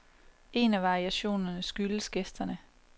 En af variationerne skyldes gæsterne.